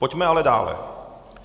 Pojďme ale dále.